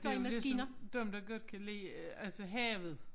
Det jo ligesom dem der godt kan lide øh altså havet